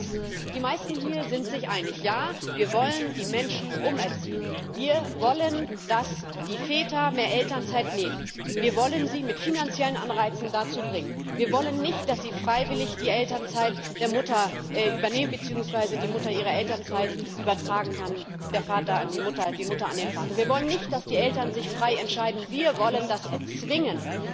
Zu erstens Die meisten hier sind sich einig Ja, wir wollen die Menschen umerziehen, wir wollen, dass die Väter mehr Elternzeit nehmen, wir wollen sie mit finanziellen Anreizen dazu bringen, wir wollen nicht, dass sie freiwillig die Elternzeit der Mutter übernehmen beziehungsweise die Mutter ihre Elternzeit übertragen kann der Vater an die Mutter, die Mutter an den Vater wir wollen nicht, dass die Eltern sich frei entscheiden, wir wollen das erzwingen.